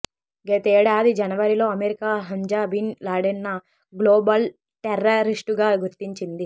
గతేడాది జనవరిలో America Hamza bin లాడెన్ను గ్లోబల్ టెర్రరిస్టుగా గుర్తించింది